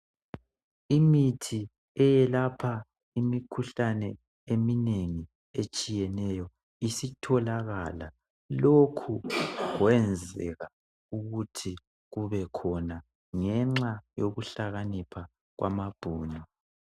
Imithi eyelapha imikhuhlane eminengi etshiyeneyo isitholakala lokhu kwenzeka ukuthi kubekhona ngenxa yokuhlakanipha kwamabhuku.